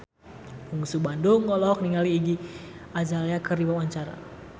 Bungsu Bandung olohok ningali Iggy Azalea keur diwawancara